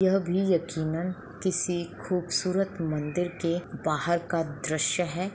यह भी यक़ीनन किसी खूबसूरत मंदिर के बाहर का दृश्य है।